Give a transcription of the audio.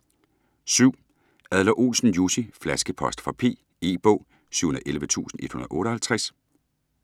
Adler-Olsen, Jussi: Flaskepost fra P E-bog 711158